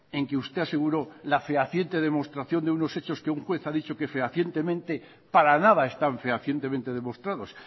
en que usted aseguró la fehaciente demostración de unos hechos que una juez ha dicho que fehacientemente para nada están fehacientemente demostrados